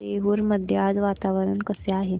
देऊर मध्ये आज वातावरण कसे आहे